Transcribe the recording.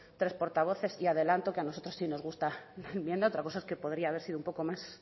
tres portavoces y adelanto que a nosotros sí nos gusta la enmienda otra cosa es que podría haber sido un poco más